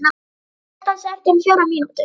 Nökkvi, slökktu á þessu eftir fjórar mínútur.